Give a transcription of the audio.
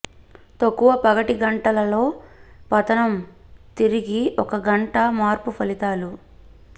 తక్కువ పగటి గంటలలో పతనం తిరిగి ఒక గంట మార్పు ఫలితాలు